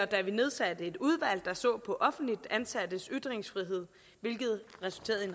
da vi nedsatte et udvalg der så på offentligt ansattes ytringsfrihed hvilket resulterede i